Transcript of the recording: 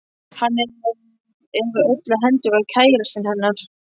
Hann er, eða öllu heldur var, KÆRASTINN hennar.